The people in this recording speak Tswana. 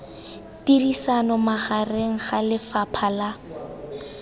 tirisano magareng ga lefapha la